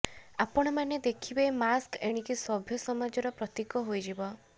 ଆପଣମାନେ ଦେଖିବେ ମାସ୍କ ଏଣିକି ସଭ୍ୟ ସମାଜର ପ୍ରତୀକ ହୋଇଯିବ